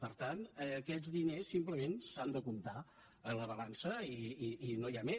per tant aquests diners simplement s’han de comptar a la balança i no hi ha més